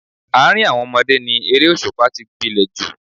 Àárín àwọn ọmọdé ni eré òṣùpá tí gbilẹ̀ jù